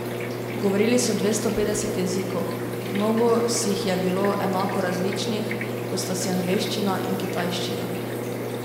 Govorili so dvesto petdeset jezikov, mnogo si jih je bilo enako različnih, kot sta si angleščina in kitajščina.